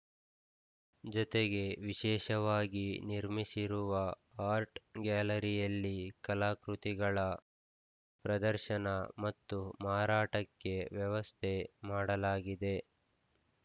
ಜತೆಗೆ ವಿಶೇಷವಾಗಿ ನಿರ್ಮಿಸಿರುವ ಆರ್ಟ್‌ ಗ್ಯಾಲರಿಯಲ್ಲಿ ಕಲಾಕೃತಿಗಳ ಪ್ರದರ್ಶನ ಮತ್ತು ಮಾರಾಟಕ್ಕೆ ವ್ಯವಸ್ಥೆ ಮಾಡಲಾಗಿದೆ